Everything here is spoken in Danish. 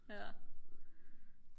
ja